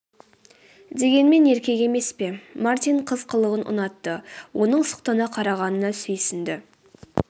дегенмен еркек емес пе мартин қыз қылығын ұнатты оның сұқтана қарағанына сүйсінді